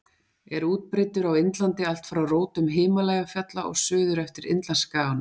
Er útbreiddur á Indlandi allt frá rótum Himalajafjalla og suður eftir Indlandsskaganum.